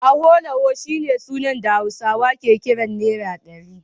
Awolowo shine sunan da Hausawa ke kira Naira ɗari